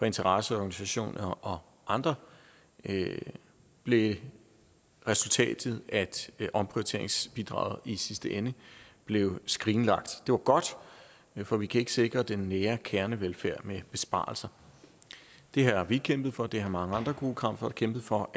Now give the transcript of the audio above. interesseorganisationer og andre blev resultatet at omprioriteringsbidraget i sidste ende blev skrinlagt det var godt for vi kan ikke sikre den nære kernevelfærd med besparelser det har vi kæmpet for og det har mange andre gode kræfter kæmpet for